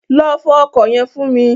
Lọ fọ ọkọ̀ yẹn fún mi.